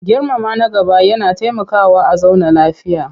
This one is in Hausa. Girmama na gaba yana taimakawa a zauna lafiya.